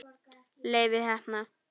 Leifi heppna.